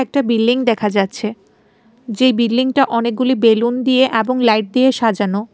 একটা বিল্ডিং দেখা যাচ্ছে যেই বিল্ডিংটা অনেকগুলি বেলুন দিয়ে এবং লাইট দিয়ে সাজানো।